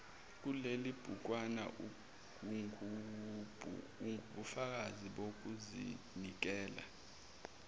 kulelibhukwana ungubufakazi bokuzinikela